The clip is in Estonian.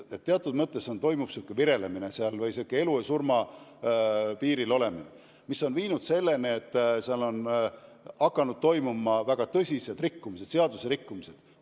Teatud mõttes toimub virelemine, niisugune elu ja surma piiril olemine, mis on viinud selleni, et säärastes büroodes on hakanud toimuma väga tõsised seaduserikkumised.